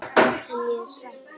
En ég er hrædd.